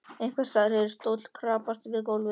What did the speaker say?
Einhvers staðar heyrðist stóll skrapast við gólf.